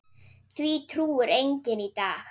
Því trúir enginn í dag.